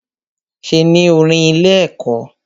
Ṣe ní orin ilé ẹ̀kọ́?